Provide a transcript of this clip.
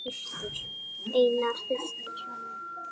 Einar Hallur.